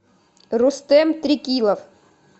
рустэм трекилов